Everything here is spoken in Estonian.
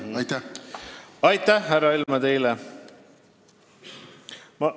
Aitäh teile, härra Helme!